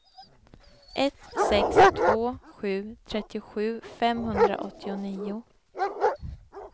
ett sex två sju trettiosju femhundraåttionio